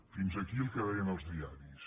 fins aquí el que deien els diaris